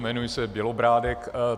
Jmenuji se Bělobrádek.